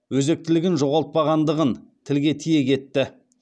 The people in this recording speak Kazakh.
өзектілігін жоғалтпағандығың тілге тиек етті